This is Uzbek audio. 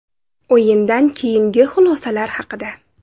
O‘yindan keyingi xulosalar haqida.